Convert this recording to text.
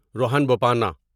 Rohan Bopanna